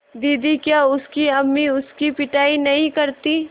दीदी क्या उसकी अम्मी उसकी पिटाई नहीं करतीं